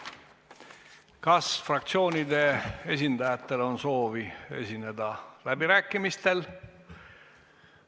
Kas fraktsioonide esindajatel on soovi esineda läbirääkimistel?